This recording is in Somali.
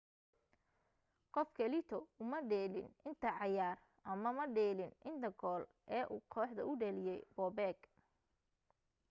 qof kaleeto uma dheelin inta cayaar ama madhalinin inta gool ee uu kooxda u dhaliye bobek